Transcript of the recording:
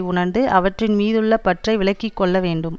உணர்ந்து அவற்றின் மீதுள்ள பற்றை விலக்கி கொள்ள வேண்டும்